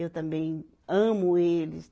Eu também amo eles.